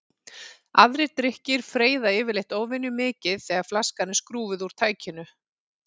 Aðrir drykkir freyða yfirleitt óvenjumikið þegar flaskan er skrúfuð úr tækinu.